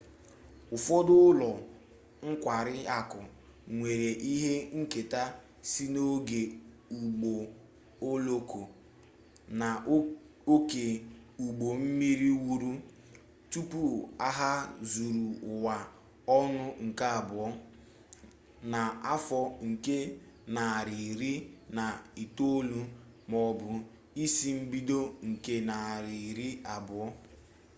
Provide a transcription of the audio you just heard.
ụfọdụ ụlọ nkwari akụ nwere ihe nketa si n'oge ụgbọ oloko na oke ụgbọ mmiri wuru tupu agha zuru ụwa ọnụ nke abụọ na afọ nke narị iri na itolu maọbụ isi mbido nke narị iri abụo